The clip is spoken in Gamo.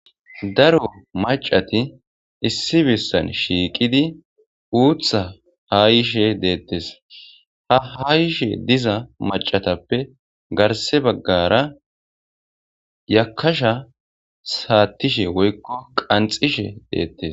Daro macati issi bissan shiiqidi uutha hayishe deettes ha hayishe diza macatappe garse baggara yakasha saattishe woykko qanxishe deettes.